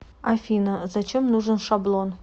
афина зачем нужен шаблон